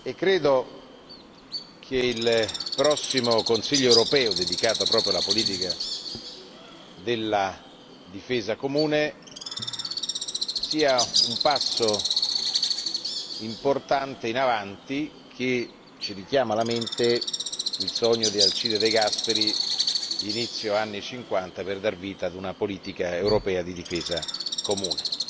Credo che il prossimo Consiglio europeo, dedicato proprio alla politica di difesa comune, sia un importante passo in avanti che riporta alla mente il sogno di Alcide de Gasperi degli inizi degli anni '50 di dar vita a una politica europea di difesa comune.